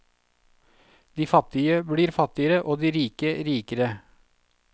De fattige blir fattigere, og de rike blir rikere.